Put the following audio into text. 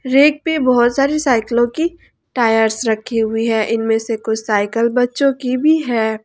Rack पे बहुत सारी साइकिलो की टायर्स रखी हुई हैं इनमे से कुछ साइकल बच्चों की भी हैं।